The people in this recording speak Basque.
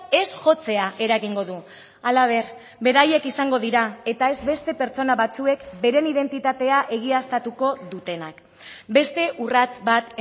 ez jotzea eragingo du halaber beraiek izango dira eta ez beste pertsona batzuek beren identitatea egiaztatuko dutenak beste urrats bat